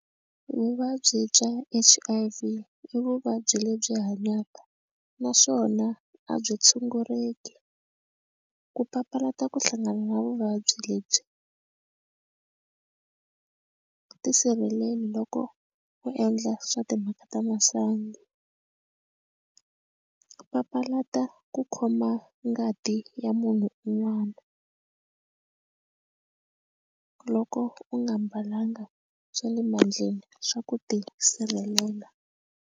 Vuvabyi bya H_I_V i vuvabyi lebyi hanyaka naswona a byi tshunguleki ku papalata ku hlangana na vuvabyi lebyi tisirheleli loko u endla swa timhaka ta masangu ku papalata ku khoma ngati ya munhu un'wana loko u nga mbalanga swa le mandleni swa ku tisirhelela.